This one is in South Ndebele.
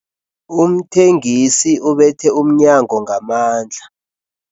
Umthengisi ubethe umnyango ngamandla.